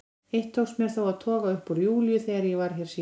Eitt tókst mér þó að toga upp úr Júlíu þegar ég var hér síðast.